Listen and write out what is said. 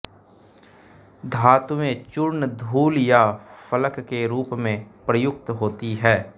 धातुएँ चूर्ण धूल या फलक के रूप में प्रयुक्त होती हैं